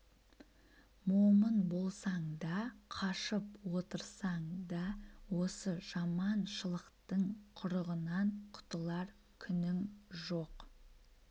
момын болсаң да қашып отырсаң да осы жаман-шылықтың құрығынан құтылар күнің жоқ